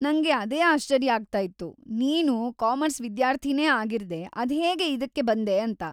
ನಂಗೆ ಅದೇ ಆಶ್ಚರ್ಯ ಆಗ್ತಾ ಇತ್ತು, ನೀನು ಕಾಮರ್ಸ್‌ ವಿದ್ಯಾರ್ಥಿನೇ ಆಗಿರ್ದೇ ಅದ್ಹೇಗೆ ಇದಕ್ಕೆ ಬಂದೆ ಅಂತ.